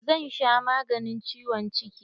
Zan sha maganin ciwon ciki.